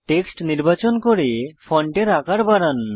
text নির্বাচন করে ফন্টের আকার বাড়ান